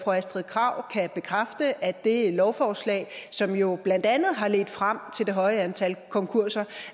astrid krag kan bekræfte at det lovforslag som jo blandt andet har ledt frem til det høje antal konkurser